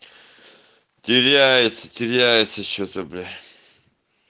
теряется теряется что-то блять